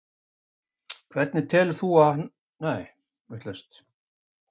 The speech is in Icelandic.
hafði valdið miklu fjaðrafoki eins og vænta mátti, ekki síst vegna nafnsins.